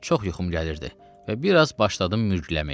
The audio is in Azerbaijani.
Çox yuxum gəlirdi və biraz başladım mürgüləməyə.